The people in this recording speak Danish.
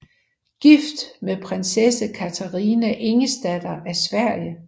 Gift med prinsesse Katarina Ingesdatter af Sverige